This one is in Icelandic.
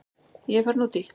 Ég er farin út í.